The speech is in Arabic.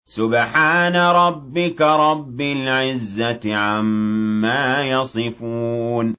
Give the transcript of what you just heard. سُبْحَانَ رَبِّكَ رَبِّ الْعِزَّةِ عَمَّا يَصِفُونَ